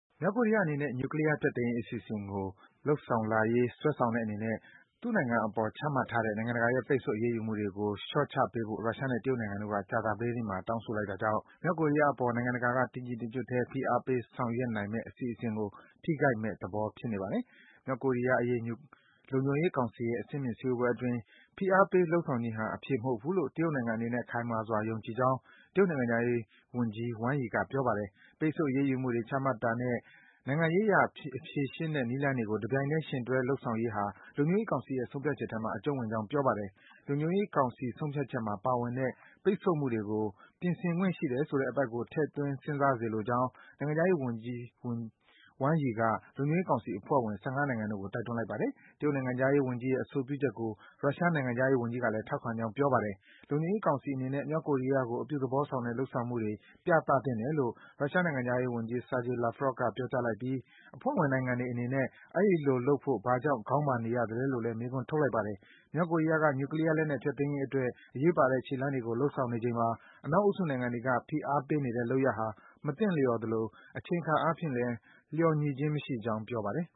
မြောက်ကိုရီးယားအနေနဲ့ နျူကလီးယား ဖျက်သိမ်းရေးအစီအစဉ်ကို လုပ်ဆောင်လာရေး စွဲဆောင်တဲ့အနေနဲ့ သူ့နိုင်ငံအပေါ် ချမှတ်ထားတဲ့ နိုင်ငံတကာရဲ့ ပိတ်ဆို့အရေးယူမှုတွေကို လျော့ချပေးဖို့ ရုရှားနဲ့ တရုတ်နိုင်ငံတို့က ကြာသပတေးနေ့မှာ တောင်းဆိုလိုက်တာကြောင့် မြောက်ကိုရီးယားအပေါ် နိုင်ငံတကာက တညီတညွတ်ထဲ ဖိအားပေး ဆောင်ရွက်နိုင်မယ့် အစီအစဉ်ကို ထိခိုက်မယ့်သဘော ဖြစ်နေပါတယ်။ မြောက်ကိုရီးယားအရေး လုံခြုံရေးကောင်စီရဲ့ အဆင့်မြင့် စည်းဝေးပွဲအတွင်း - ဖိအားပေး လုပ်ဆောင်ခြင်းဟာ အဖြေမဟုတ်ဘူးလို့ တရုတ်နိုင်ငံအနေနဲ့ ခိုင်မာစွာ ယုံကြည်ကြောင်း - တရုတ်နိုင်ငံခြားရေးဝန်ကြီး Wang Yi က ပြောပါတယ်။ ပိတ်ဆို့ အရေးယူမှုတွေ ချမှတ်တာနဲ့ နိုင်ငံရေးအရ ဖြေရှင်းတဲ့နည်းလမ်းတွေကို တပြိုင်ထဲ ယှဉ်တွဲ လုပ်ဆောင်ရေးဟာ လုံခြုံရေးကောင်စီရဲ့ ဆုံးဖြတ်ချက်ထဲမှာ အကျုံးဝင်ကြောင်း ပြောပါတယ်။ လုံခြုံရေးကောင်စီ ဆုံးဖြတ်ချက်မှာ ပါဝင်တဲ့ ပိတ်ဆို့မှုတွေကို ပြင်ဆင်ခွင့်ရှိတယ်ဆိုတဲ့ အပိုဒ်ကို ထည့်သွင်း စဉ်းစားစေလိုကြောင်း နိုင်ငံခြားရေးဝန်ကြီး Wang Yi က လုံခြုံရေးကောင်စီ အဖွဲ့ဝင် ၁၅ နိုင်ငံတို့ကို တိုက်တွန်းလိုက်ပါတယ်။ တရုတ်နိုင်ငံခြားရေးဝန်ကြီးရဲ့ အဆိုပြုချက်ကို ရုရှားနိုင်ငံခြားရေးဝန်ကြီးကလည်း ထောက်ခံကြောင်း ပြောပါတယ်။ လုံခြုံရေးကောင်စီအနေနဲ့ မြောက်ကိုရီးယားကို အပြုသဘောဆောင်တဲ့ လုပ်ဆောင်မှုတွေ ပြသသင့်တယ်လို့ ရုရှားနိုင်ငံခြားရေးဝန်ကြီး Sergei Lavrov က ပြောကြားလိုက်ပြီး အဖွဲ့ဝင်နိုင်ငံတွေအနေနဲ့ အဲဒီလိုလုပ်ဖို့ ဘာကြောင့် ခေါင်းမာနေရသလဲလို့ မေးခွန်းထုတ်လိုက်ပါတယ်။ မြောက်ကိုရီးယားဘက်က နျူကလီးယားလက်နက် ဖျက်သိမ်းရေးအတွက် အရေးပါတဲ့ ခြေလှမ်းတွေကို လုပ်ဆောင်နေချိန်မှာ အနောက်အုပ်စု နိုင်ငံတွေက ဖိအားဆက်ပေးနေတဲ့လုပ်ရပ်ဟာ မသင့်လျော်သလို အချိန်အခါအားဖြင့်လဲ လျော်ညီခြင်း မရှိကြောင်း ပြောပါတယ်